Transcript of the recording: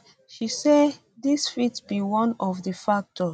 she say dis fit be one of di factors